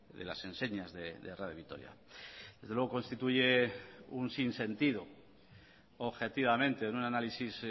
de las enseñas de radio vitoria desde luego constituye un sin sentido objetivamente en un análisis